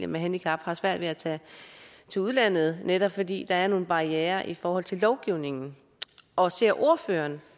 med handicap har svært ved at tage til udlandet netop fordi der er nogle barrierer i forhold til lovgivningen og ser ordføreren